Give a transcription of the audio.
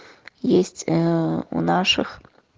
есть э у наших